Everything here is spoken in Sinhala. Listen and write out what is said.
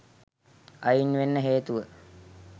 අයින් වෙන්න හේතුව